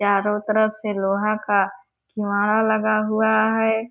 चारो तरफ से लोहा का किवाड़ा लगा हुआ है।